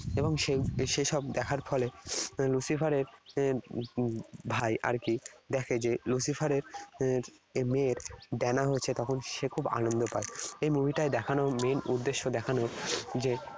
এবং সে সেসব দেখার ফলে Lucifer এর এর ভাই আর কি দেখে যে Lucifer এর এর মেয়ের ডানা হয়েছে। তখন সে খুব আনন্দ পায়। এই movie টায় দেখানো main উদ্দেশ্য দেখানোর যে